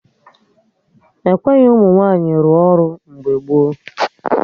Ekweghị ụmụ nwaanyị rụọ ọrụ mgbe gboo